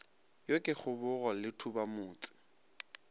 yo ke kgobogo le thubamotse